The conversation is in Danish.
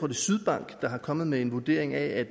er sydbank der er kommet med en vurdering af at